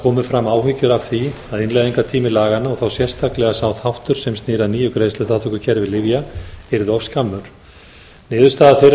komu fram áhyggjur af því að innleiðingartími laganna og þá sérstaklega sá þáttur sem snýr að nýju greiðsluþátttökukerfi lyfja yrði of skammur niðurstaða þeirrar umræðu